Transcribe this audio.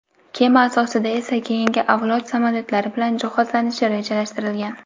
kema asosida esa keyingi avlod samolyotlari bilan jihozlanishi rejalashtirilgan.